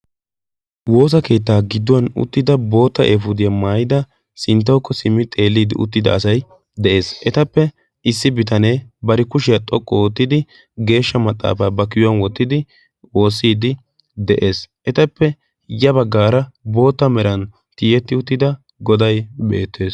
woosa keettaa gidduwan uttida boota eefuudiyaa maayida sinttaokko simmi xeelliidi uttida asay de'ees. etappe issi bitanee bari kushiyaa xoqqu oottidi geeshsha maxaafaa ba kiyuwan wottidi woossiidi de'ees. etappe ya baggaara boota meran tiyetti uttida godai beettees.